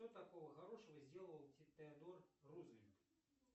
что такого хорошего сделал теодор рузвельт